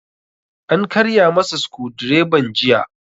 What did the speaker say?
An karya masa sukudireban jiya